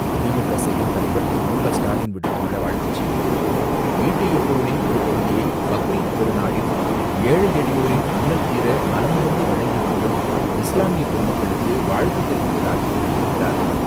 திமுக செயல்தலைவர் திரு.மு.க.ஸ்டாலின் விடுத்துள்ள வாழ்த்துச்செய்தியில், ஈட்டிய பொருளில் ஒருபகுதியை பக்ரீத் பெருநாளில், ஏழை, எளியோரின் இன்னல் தீர, மனமுவந்து வழங்கி மகிழும் இஸ்லாமிய பெருமக்களுக்கு வாழ்த்து தெரிவிப்பதாக கூறியிருக்கிறார்.